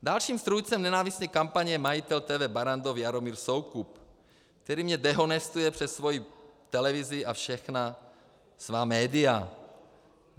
Dalším strůjcem nenávistné kampaně je majitel TV Barrandov Jaromír Soukup, který mě denohestuje přes svoji televizi a všechna svá média.